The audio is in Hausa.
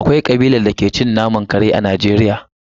Akwai kabilar da ke cin naman kare a Najeriya.